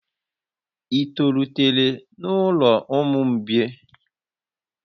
Ị tolitere n'ụlọ ụmụ mgbei?